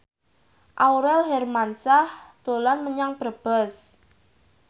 Aurel Hermansyah dolan menyang Brebes